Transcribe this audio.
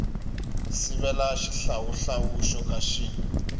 sivela xihlawuhlawu xo ka xi